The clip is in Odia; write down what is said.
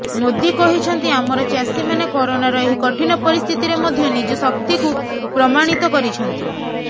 ମୋଦୀ କହିଛନ୍ତି ଆମର ଚାଷୀମାନେ କରୋନାର ଏହି କଠିନ ପରିସ୍ଥିତିରେ ମଧ୍ୟ ନିଜ ଶକ୍ତିକୁ ପ୍ରମାଣିତ କରିଛନ୍ତି